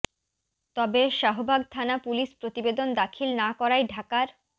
তবে শাহবাগ থানা পুলিশ প্রতিবেদন দাখিল না করায় ঢাকার